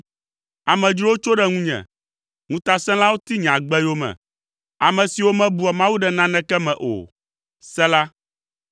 Amedzrowo tso ɖe ŋunye, ŋutasẽlawo ti nye agbe yome, ame siwo mebua Mawu ɖe naneke me o. Sela